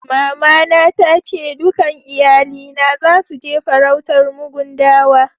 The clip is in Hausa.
Mama na ta ce dukan iyalina zasu je farautar mugun dawa.